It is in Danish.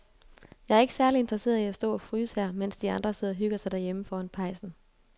Jeg er ikke særlig interesseret i at stå og fryse her, mens de andre sidder og hygger sig derhjemme foran pejsen.